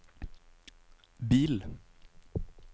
bil